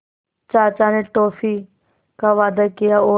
चाचा ने टॉफ़ी का वादा किया और